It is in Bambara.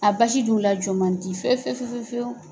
A basi dun la jɔ man di fɛfɛwu!